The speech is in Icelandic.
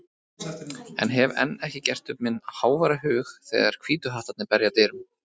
en hef enn ekki gert upp minn háværa hug þegar Hvítu hattarnir berja að dyrum.